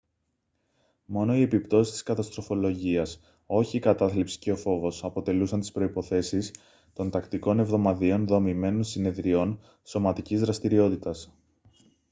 μόνο οι επιπτώσεις της καταστροφολογίας όχι η κατάθλιψη και ο φόβος αποτελούσαν τις προϋποθέσεις των τακτικών εβδομαδιαίων δομημένων συνεδριών σωματικής δραστηριότητας